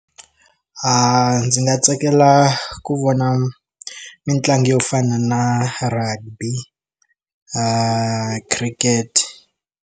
A ndzi nga tsakela ku vona mitlangu yo fana na rugby na cricket.